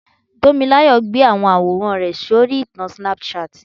Tomilayo gbé àwọn àwòrán rẹ̀ sórí ìtàn Snapchat.